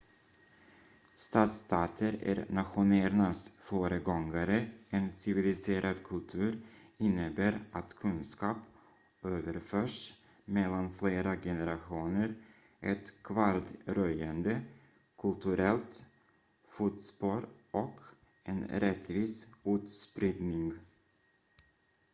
stadsstater är nationernas föregångare en civiliserad kultur innebär att kunskap överförs mellan flera generationer ett kvardröjande kulturellt fotspår och en rättvis utspridning